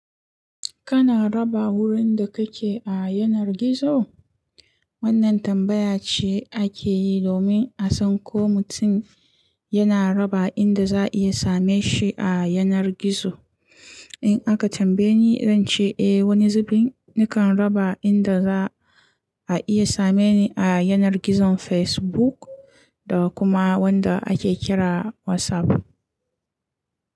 Kana raba wurin da kake a yanar gizo? Wannan tambaya ce ake yi domin a san ko mutum yana raba inda za a iya same shi a yanar gizo. In aka tambaye ni, zan ce eh, wani zubin nakan raba inda za a iya same ni a yanar gizon Facebook da kuma wanda ake kira WhatsApp.